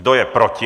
Kdo je proti?